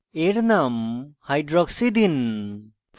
এর name hydroxy দিন